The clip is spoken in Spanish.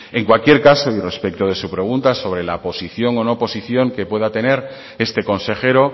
en cualquier caso y respecto de su pregunta sobre la posición o no posición que pueda tener este consejero